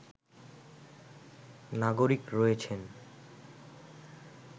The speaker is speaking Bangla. নাগরিক রয়েছেন